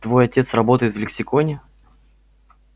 твой отец работает в лексиконе